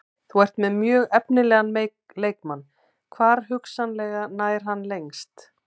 Þú ert með mjög efnilegan leikmann, hvar hugsanlega nær hann lengst?